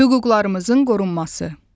Hüquqlarımızın qorunması.